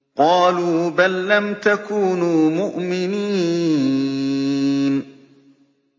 قَالُوا بَل لَّمْ تَكُونُوا مُؤْمِنِينَ